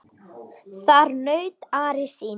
Þar naut Ari sín.